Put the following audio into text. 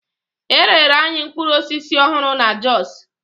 E rere anyị mkpụrụ osisi ọhụrụ na Jos.